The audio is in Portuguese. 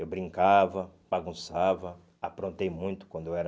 Eu brincava, bagunçava, aprontei muito quando eu era...